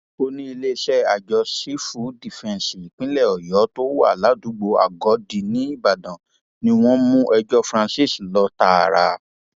olùiléeṣẹ àjọ sífù dífẹǹsì ìpínlẹ ọyọ tó wà ládùúgbò agòdì nìbàdàn ni wọn mú ẹjọ francis lọ tààrà